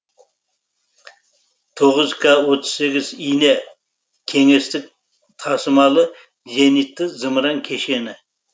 тоғыз к отыз сегіз ине кеңестік тасымалы зенитті зымыран кешені